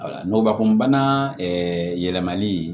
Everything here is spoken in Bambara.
Wala ngubakunbana yɛlɛmali